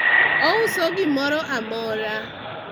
ouso gimoro amora